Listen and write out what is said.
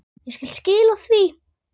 Ég skal skila því.